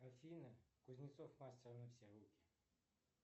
афина кузнецов мастер на все руки